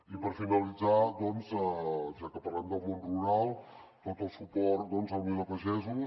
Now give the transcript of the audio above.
i per finalitzar doncs ja que parlem del món rural tot el suport a unió de pagesos